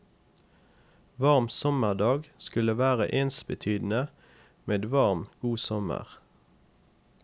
Varm sommerdag skulle være ensbetydende med varm, god sommer.